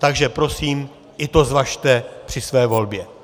Takže prosím, i to zvažte při své volbě.